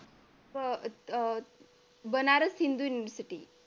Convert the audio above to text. अह अह बनारस हिंदूंसाठी